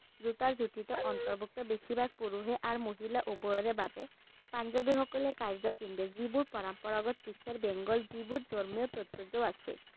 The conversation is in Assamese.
জোতাৰ যথিত অন্তৰ্ভুক্ত বেছিভাগ পুৰুষে আৰু মহিলা উভয়ৰে বাবে পাঞ্জাবী সকলে কাৰ্য্য পিন্ধে যিবোৰ পৰম্পৰাগত দিশে বেঙ্গল যিবোৰ ধৰ্মীয় তাৎপৰ্য্য আছে।